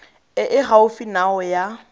e e gaufi nao ya